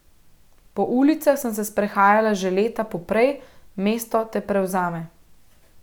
Po ulicah sem se sprehajala že leta poprej, mesto te prevzame.